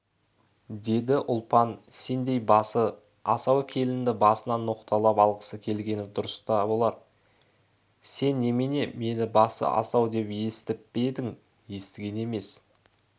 деді ұлпан сендей басы-асау келінді басынан ноқталап алғысы келгені дұрыс та болар сең немене мені басы-асау деп естіп пе едің естіген емес